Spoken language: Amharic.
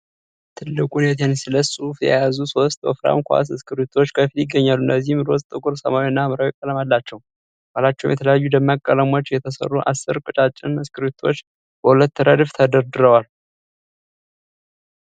ትልቁን የ"TENNESSEE" ጽሑፍ የያዙ ሦስት ወፍራም ኳስ እስክሪብቶዎች ከፊት ይገኛሉ፤ እነዚህም ሮዝ፣ ጥቁር ሰማያዊ እና ሐምራዊ ቀለም አላቸው። ከኋላቸውም በተለያዩ ደማቅ ቀለሞች የተሰሩ አሥር ቀጫጭን እስክሪብቶዎች በሁለት ረድፍ ተደርድረዋል።